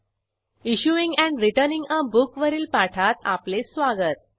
issuing and returning a book वरील पाठात आपले स्वागत